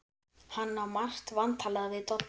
Hann á margt vantalað við Dodda.